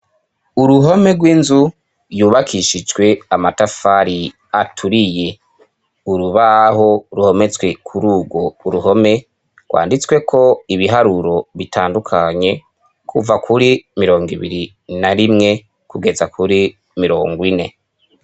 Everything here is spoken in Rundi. Uruhome rw'inzu, yubakishijwe amatafari aturiye, urubaho ruhometswe kuri urwo uruhome, rwanditsweko ibiharuro bitandukanye kuva kuri mirongo ibiri na rimwe kugeza kuri mirongo ine.